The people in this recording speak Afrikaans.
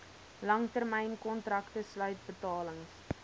langtermynkontrakte sluit betalings